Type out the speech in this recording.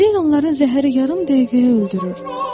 Belə ilanların zəhəri yarım dəqiqəyə öldürür.